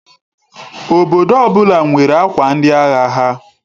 Obodo ọbụla nwere akwa ndi agha ha.